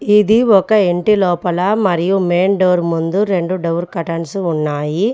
ఇది ఒక ఇంటి లోపల మరియు మెయిన్ డోర్ ముందు రెండు డోర్ కర్టెన్స్ ఉన్నాయి.